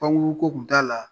Pankuru ko tun t'a la